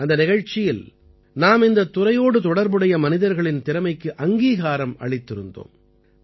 அந்த நிகழ்ச்சியில் நாம் இந்தத் துறையோடு தொடர்புடைய மனிதர்களின் திறமைக்கு அங்கீகாரம் அளித்திருந்தோம்